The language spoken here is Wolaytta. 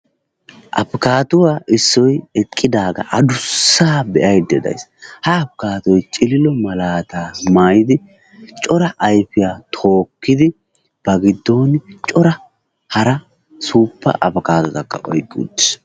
Apikaadduwaa issoy eqqidaagaa adussaa be"aydda days. Ha apikaaddoy cililo malaataa cora ayfiyaa tookkidi ba giddon cora hara suuppa apikaadotakka oyqqi uttis.